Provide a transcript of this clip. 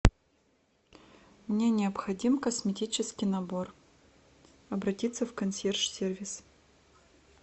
мне необходим косметический набор обратиться в консьерж сервис